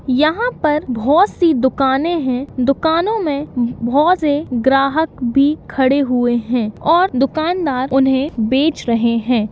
यहाँ पर बहुत सी दुकाने हैं दुकानों में बहुत से ग्राहक भी खड़े हुए हैं और दुकानदार उन्हें बेच रहे हैं।